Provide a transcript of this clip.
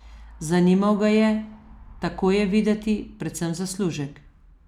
Zanimal ga je, tako je videti, predvsem zaslužek.